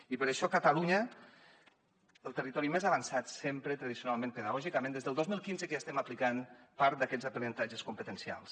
i per això catalunya el territori més avançat sempre tradicionalment pedagògicament des del dos mil quinze que ja estem aplicant part d’aquests aprenentatges competencials